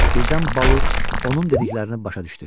Birdən Balu onun dediklərini başa düşdü.